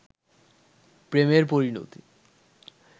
প্রেমের পরিণতি